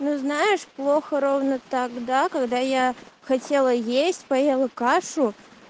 ну знаешь плохо ровно тогда когда я хотела есть поела кашу